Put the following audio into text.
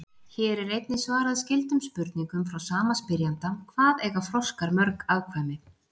Hér er einnig svarað skyldum spurningum frá sama spyrjanda: Hvað eiga froskar mörg afkvæmi?